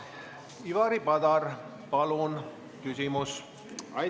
Ivari Padar, palun küsimus!